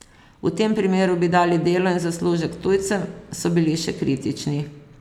V tem primeru bi dali delo in zaslužek tujcem, so bili še kritični.